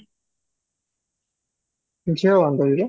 ଝିଅ